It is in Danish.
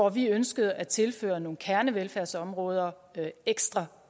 at vi ønskede at tilføre nogle kernevelfærdsområder ekstra